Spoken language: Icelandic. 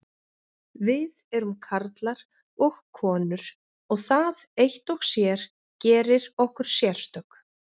Við erum karlar og konur og það eitt og sér gerir okkur sérstök.